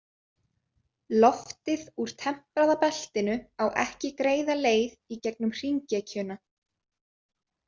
Loftið úr tempraða beltinu á ekki greiða leið í gegnum hringekjuna.